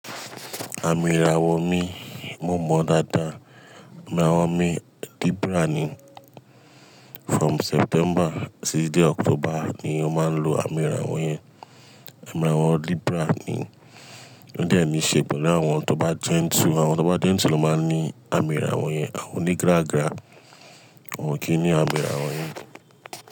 Àmì ìràwọ̀ mi, mo mọ̀ dáadáa. Àmì ìràwọ̀ mi Libra ni. From September titi de October ni ó máa ń lo àmì ìràwọ̀ yẹn. Àmì ìràwọ̀ Libra ni. Ó dà níí ṣe pẹ̀lú àwọn tó bá gentle. Àwọn tó bá gentle ló máa ń ní àmì ìràwọ̀ yẹn. Àwọn oní gírágirá, wọn kì í ní àmì ìràwọ̀ yẹn.